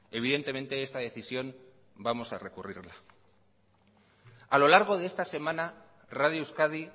evidentemente esta decisión vamos a recurrirla a lo largo de esta semana radio euskadi